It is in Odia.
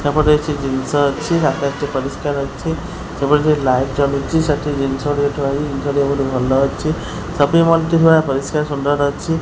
ଏପଟେ କିଛି ଜିନିଷ ଅଛି ଆକାଶ ଟି ପରିଷ୍କାର ଅଛି ସେପଟେ କିଛି ଲାଇଟ୍ ଜଲୁଚି ସେଠି ଜିନିଷଗୁଡିକ ଥୁଆହେଇଛି ଜିନିଷ ଗୁଡ଼ିକ ବହୁତ୍ ଭଲ ଅଛି ସପିଙ୍ଗ ମଲ୍ ଟି ନୂଆ ପରିଷ୍କାର ସୁନ୍ଦର ଅଛି।